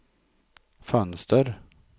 fönster